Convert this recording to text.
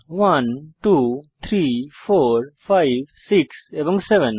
123456 এবং 7